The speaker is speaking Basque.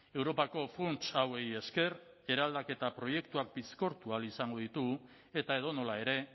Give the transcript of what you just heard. europako funts hauei esker eraldaketa proiektuak bizkortu ahal izango ditugu eta edonola ere